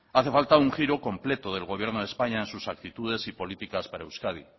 hace falta un giro completo del gobierno de españa en sus actitudes y políticas para euskadi